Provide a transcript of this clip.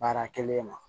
Baara kɛlen ma